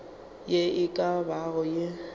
ye e ka bago ye